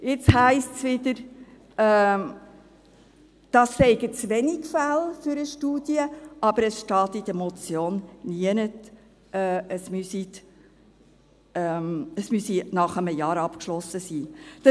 Jetzt heisst es wieder, dies seien zu wenige Fälle für eine Studie, aber es steht in der Motion nirgends, dass es nach einem Jahr abgeschlossen sein müsse.